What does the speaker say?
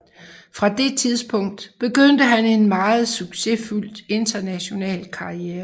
Fra det tidspunkt begyndte han en meget succesfuld international karriere